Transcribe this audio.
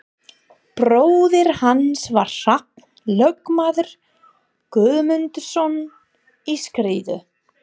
Bróðir hans var Hrafn lögmaður Guðmundsson í Skriðu.